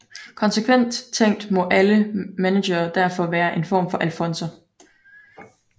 Konsekvent tænkt må alle managere derfor være en form for alfonser